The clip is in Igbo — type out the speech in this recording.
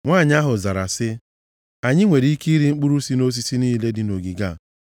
Nwanyị ahụ zara sị ya, “Anyị nwere ike rie mkpụrụ si nʼosisi niile dị nʼogige a